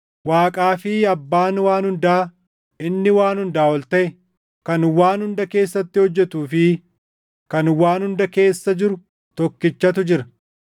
Waaqaa fi Abbaan waan hundaa, inni waan hundaa ol taʼe, kan waan hunda keessatti hojjetuu fi kan waan hunda keessa jiru tokkichatu jira.